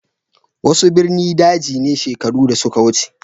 Wasu ɓirni ɗaji ne sheƙaru da suka wuce.